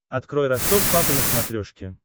открой ростов папа на смотрешке